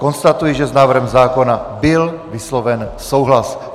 Konstatuji, že s návrhem zákona byl vysloven souhlas.